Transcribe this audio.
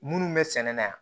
Minnu bɛ sɛnɛ na yan